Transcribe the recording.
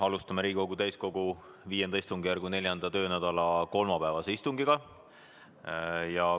Alustame Riigikogu täiskogu V istungjärgu 4. töönädala kolmapäevast istungit.